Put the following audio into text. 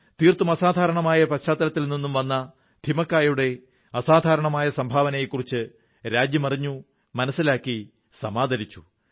തീർത്തും സാധാരണമായ പശ്ചാത്തലത്തിൽ നിന്നും വരുന്ന ഥിമക്കായുടെ അസാധാരണമായ സംഭാവനയെക്കുറിച്ച് രാജ്യം അറിഞ്ഞു മനസ്സിലാക്കി സമാദരിച്ചു